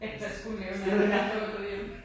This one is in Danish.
Jeg kan også kun lave den der når du var gået hjem